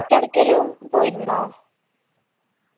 ഏടക്കേലും പോയിരുന്നോ